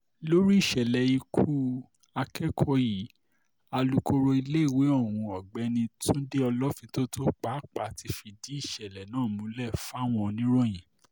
lórí ìṣẹ̀lẹ̀ ikú akẹ́kọ̀ọ́ yìí alūkkoro iléèwé ohun ọ̀gbẹ́ni túnde olófintótó pàápàá ti fìdí ìṣẹ̀lẹ̀ náà múlẹ̀ fáwọn oníròyìn